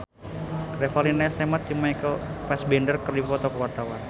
Revalina S. Temat jeung Michael Fassbender keur dipoto ku wartawan